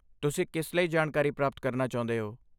ਤੁਸੀਂ ਕਿਸ ਲਈ ਜਾਣਕਾਰੀ ਪ੍ਰਾਪਤ ਕਰਨਾ ਚਾਹੁੰਦੇ ਹੋ?